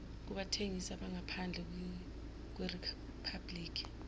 kubathengisi abangaphandle kweriphabhliki